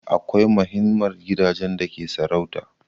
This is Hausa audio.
Akwai mahinmar gidajen da ke sarauta